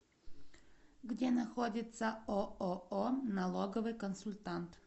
где находится ооо налоговый консультант